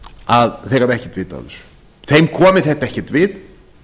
að þeir hafi ekkert vit á þessu þeim komi þetta ekki við